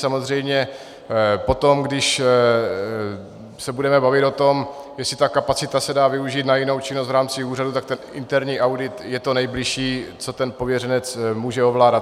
Samozřejmě potom, když se budeme bavit o tom, jestli ta kapacita se dá využít na jinou činnost v rámci úřadu, tak ten interní audit je to nejbližší, co ten pověřenec může ovládat.